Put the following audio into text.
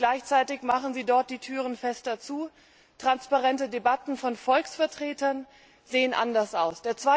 Gleichzeitig machen Sie dort die Türen fester zu, transparente Debatten von Volksvertretern sehen anders aus.